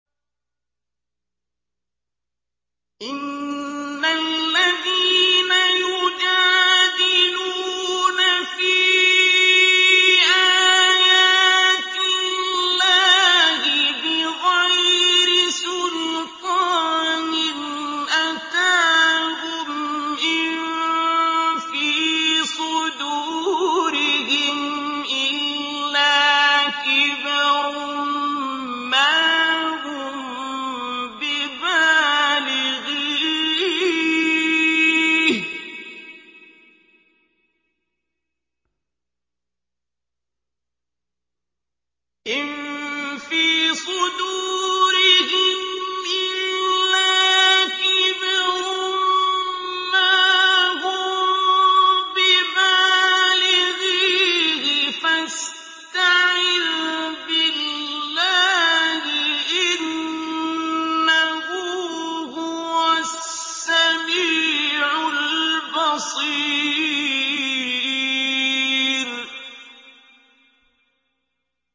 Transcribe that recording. إِنَّ الَّذِينَ يُجَادِلُونَ فِي آيَاتِ اللَّهِ بِغَيْرِ سُلْطَانٍ أَتَاهُمْ ۙ إِن فِي صُدُورِهِمْ إِلَّا كِبْرٌ مَّا هُم بِبَالِغِيهِ ۚ فَاسْتَعِذْ بِاللَّهِ ۖ إِنَّهُ هُوَ السَّمِيعُ الْبَصِيرُ